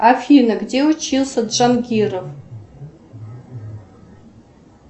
афина где учился джанкиров